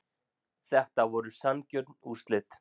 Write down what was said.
Þetta voru sanngjörn úrslit